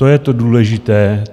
To je to důležité.